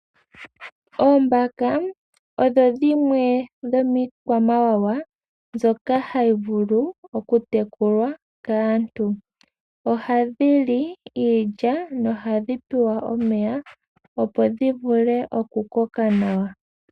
Oombaka odho dhimwe dhomiikwamawawa mbyoka hayi vulu okutekulwa kaantu. Ohadhi li iilya nohadhi pewa omeya opo dhi vule oku koka nawa.